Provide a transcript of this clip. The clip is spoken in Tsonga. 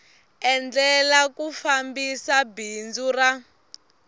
endlela ku fambisa bindzu ra